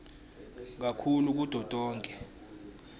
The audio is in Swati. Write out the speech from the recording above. kakhulu kuto tonkhe